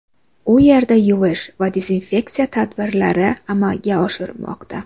U yerda yuvish va dezinfeksiya tadbirlari amalga oshirilmoqda.